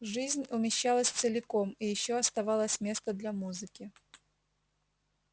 жизнь умещалась целиком и ещё оставалось место для музыки